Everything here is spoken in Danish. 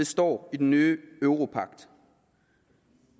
står i den nye europagt